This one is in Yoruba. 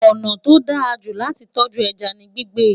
ọnà tó dá jù láti tọju ẹja ní gbígbé